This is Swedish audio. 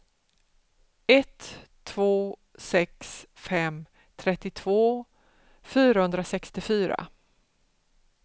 ett två sex fem trettiotvå fyrahundrasextiofyra